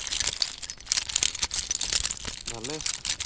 ভালেই